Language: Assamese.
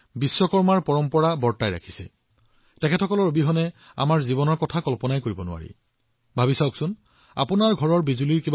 আপোনালোকৰ চাৰিওফালে চাওক লোহাৰ শ্ৰমিক মৃৎশিল্প নিৰ্মাতা কাঠ নিৰ্মাতা বৈদ্যুতিক কৰ্মী ঘৰৰ চিত্ৰকৰ ছুইপাৰ বা এই সকলো মবাইললেপটপ মেৰামতি কৰা এই সকলোবোৰ সতীৰ্থ তেওঁলোকৰ দক্ষতাৰ বাবে জনাজাত